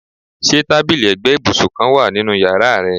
Ṣe tabili ẹgbẹ ibusun kan wa ninu yara rẹ?